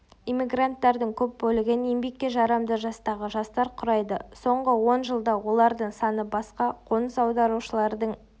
эммигранттардың көп бөлігін еңбекке жарамды жастағы жастар құрайды соңғы он жылда олардың саны басқа қоныс аударушылардың